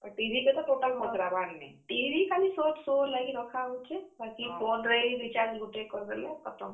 ଆଉ TV କେ ତ total ପଚ୍ ରା ବାର୍ ନି ।